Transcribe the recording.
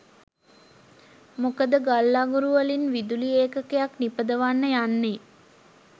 මොකද ගල් අඟුරුවලින් විදුලි ඒකකයක් නිපදවන්න යන්නේ